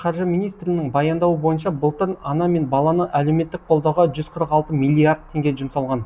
қаржы министрінің баяндауы бойынша былтыр ана мен баланы әлеуметтік қолдауға жүз қырық алты миллиард теңге жұмсалған